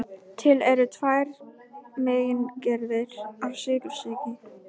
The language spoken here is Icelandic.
Til eru tvær megingerðir af sykursýki.